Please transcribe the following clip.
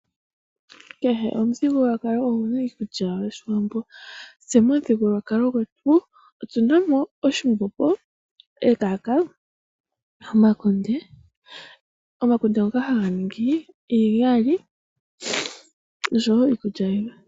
Kehe omuthigululwakalo oguna iikulya yawo. Tse momuthigululwakalo gwetu otuna mo oshimbombo, ekaka ,omakunde ngoka haga ningi iigali noshowoo iikulya yilwe.